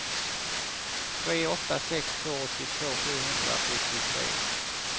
tre åtta sex två åttiotvå sjuhundrasjuttiotre